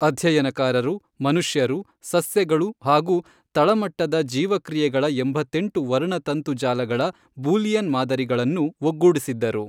ಅಧ್ಯಯನಕಾರರು ಮನುಷ್ಯರು, ಸಸ್ಯಗಳು ಹಾಗೂ ತಳಮಟ್ಟದ ಜೀವಕ್ರಿಯೆಗಳ ಎಂಬತ್ತೆಂಟು ವರ್ಣತಂತು ಜಾಲಗಳ ಬೂಲಿಯನ್ ಮಾದರಿಗಳನ್ನು ಒಗ್ಗೂಡಿಸಿದ್ದರು.